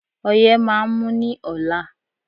Ọyé máà ń mú ní ọ̀la.